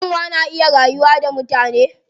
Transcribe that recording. Kyanwa na iya rayuwa da mutane.